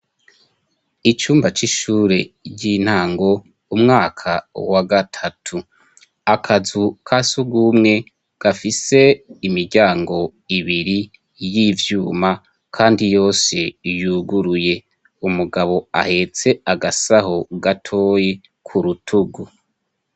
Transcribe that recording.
Icumba c'ishure ry'intango umwaka wa gatatu, akazu kasugwumwe gafise imiryango ibiri y'ivyuma kandi yose yuguruye, umugabo ahetse agasaho gatoyi ku rutugu.